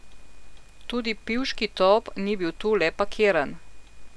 Tudi pivški top ni bil tu le parkiran.